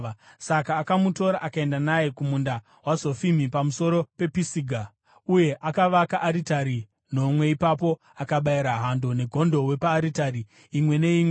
Saka akamutora akaenda naye kumunda waZofimi pamusoro pePisiga, uye akavaka aritari nomwe ipapo akabayira hando negondobwe paaritari imwe neimwe.